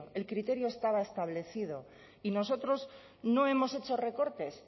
el criterio estaba establecido y nosotros no hemos hecho recortes